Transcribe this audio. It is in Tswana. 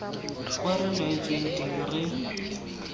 kwao re laetsweng teng re